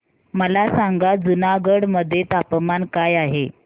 मला सांगा जुनागढ मध्ये तापमान काय आहे